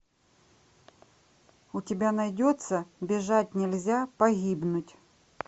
у тебя найдется бежать нельзя погибнуть